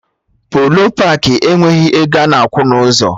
Polo paakị enweghị ego ana akwụ na ụzọ